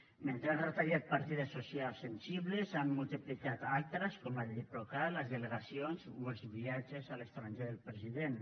mentre ha retallat partides socials sensibles n’han multiplicat d’altres com el diplocat les delegacions o els viatges a l’estranger del president